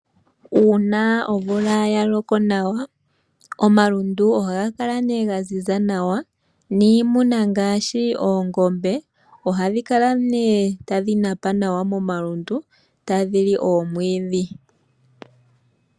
Uuna omvula ya loko nawa, omalundu ohaga kala ga ziza nawa niimuna ngaashi oongombe, ohadhi kala nee tadhi napa nawa momalundu, tadhi li omwiidhi.